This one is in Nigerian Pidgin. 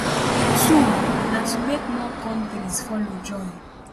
two na to make more kontris to follow join